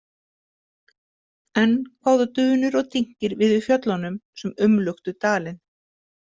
Enn kváðu dunur og dynkir við í fjöllunum sem umluktu dalinn.